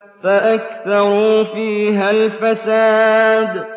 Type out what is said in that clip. فَأَكْثَرُوا فِيهَا الْفَسَادَ